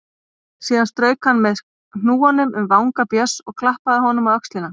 Síðan strauk hann með hnúanum um vanga Björns og klappaði honum á öxlina.